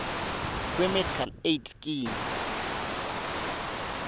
kwemedical aid scheme